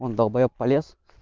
он долбаеб полез